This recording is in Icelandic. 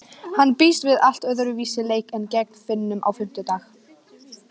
Hann býst við allt öðruvísi leik en gegn Finnum á fimmtudag.